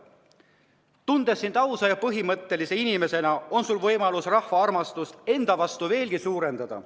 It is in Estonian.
Ma tunnen sind ausa ja põhimõttekindla inimesena ning sul on võimalus rahva armastust enda vastu veelgi suurendada.